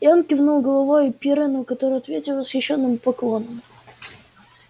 и он кивнул головой пиренну который ответил восхищенным поклоном